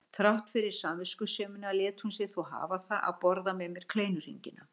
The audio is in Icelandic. Þrátt fyrir samviskusemina lét hún sig þó hafa það að borða með mér kleinuhringina.